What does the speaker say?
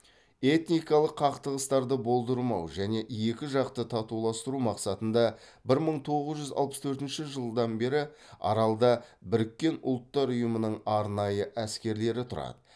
этникалық қақтығыстарды болдырмау және екі жақты татуластыру мақсатында бір мың тоғыз жүз алпыс төртінші жылдан бері аралда біріккен ұлттар ұйымының арнайы әскерлері тұрады